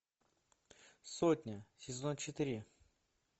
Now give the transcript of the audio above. сотня сезон четыре